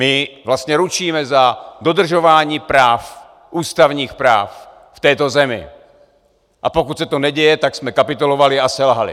My vlastně ručíme za dodržování práv, ústavních práv v této zemi, a pokud se to neděje, tak jsme kapitulovali a selhali.